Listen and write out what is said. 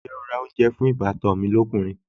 Ǹjẹ́ o ra oúnjẹ fún ìbátan mi lọ́kùnrin?